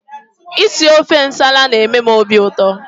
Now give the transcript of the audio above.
Isi ofe nsala na-eme m obiụtọ